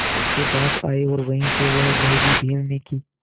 उसके पास आए और वहीं से वह भयभीत हिरनी की